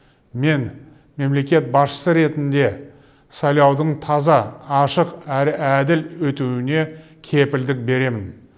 мен мемлекет басшысы ретінде сайлаудың таза ашық әрі әділ өтуіне кепілдік беремін